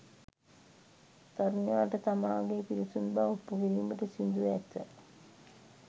තරුණයාට තමාගේ පිරිසිදු බව ඔප්පු කිරීමට සිදු ව ඇත